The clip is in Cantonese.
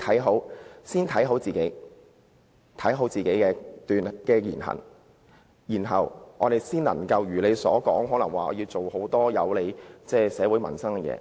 我們應先謹慎自己的言行，才能如他所說般做很多有利社會民生的事情。